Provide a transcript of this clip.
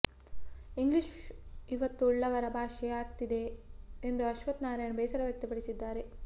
English ಇವತ್ತು ಉಳ್ಳವರ ಭಾಷೆ ಆಗ್ತಿದೆ ಎಂದು ಅಶ್ವಥ್ ನಾರಾಯಣ ಬೇಸರವ್ಯಕ್ತಪಡಿಸಿದ್ದಾರೆ